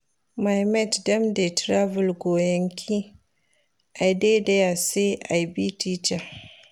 My mate dem dey travel go yankee, I dey here say I be teacher.